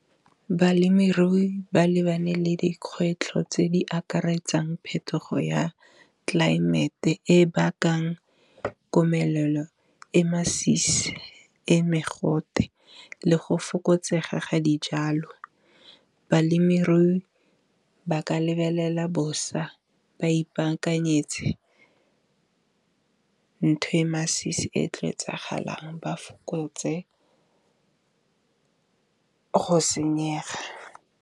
Balemirui ba lebane le dikgwetlho tse di akaretsang phetogo ya tlelaemete, e bakang komelelo e masisi, e mogote le go fokotsega ga dijalo. Balemirui ba ka lebelela bosa ba ipaakanyetse ntho e masisi e tlo etsagalang ba fokotse go senyega.